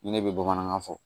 Ni ne bɛ bamanankan fɔ